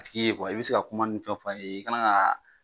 I tigi ye kuma i be se ka fɛnw fɔ a ye e kana ga